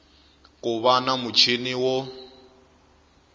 ku va na muchini wo